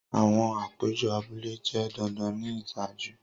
Awọn apejọ abule jẹ dandan ni iṣaaju.